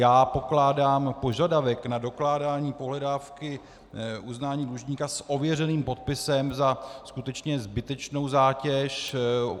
Já pokládám požadavek na dokládání pohledávky uznání dlužníka s ověřeným podpisem za skutečně zbytečnou zátěž.